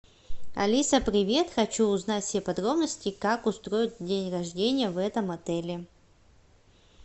алиса привет хочу узнать все подробности как устроить день рождения в этом отеле